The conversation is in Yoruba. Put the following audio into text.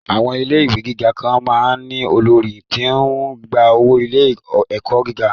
Àwọn ilé ìwé gíga kan máa ń ní olórí tí ó ń gba owó ilé-ẹ̀kọ́ gíga